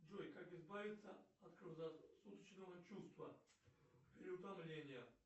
джой как избавиться от круглосуточного чувства переутомления